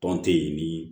Tɔn te yen ni